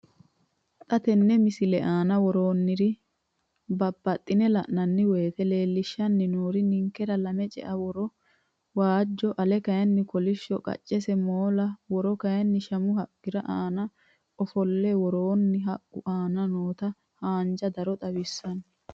Xa tenne missile aana worroonniri buunxe la'nanni woyiite leellishshanni noori ninkera lame cea woro waajjo ale kayinni kolishsho, qaccesi moola woro kayinni shamu haqqira aana ofollewoorenna haqqu aana noota haanja daro xawissanno.